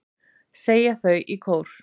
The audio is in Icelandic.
segja þau í kór.